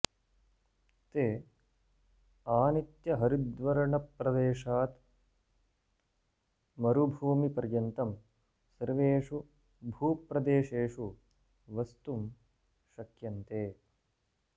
ते आनित्यहरिद्वर्णप्रदेशात् मरुभूमि पर्यन्तं सर्वेषु भूप्रदेशेषु वस्तुं शक्यन्ते